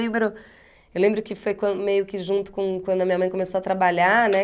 Lembro... Eu lembro que foi quan meio que junto com quando a minha mãe começou a trabalhar, né?